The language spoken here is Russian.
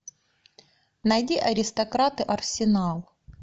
найди аристократы арсенал